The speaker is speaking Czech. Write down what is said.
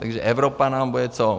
Takže Evropa nám bude co?